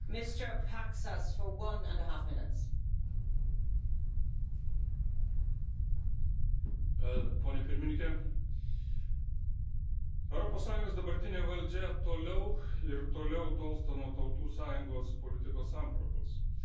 Ponia pirmininke, Europos Sąjungos dabartinė valdžia toliau ir toliau tolsta nuo Tautų Sąjungos politikos sampratos, toliau garbina globalizmą, kuris yra tikriausia neokomunizmo ideologija,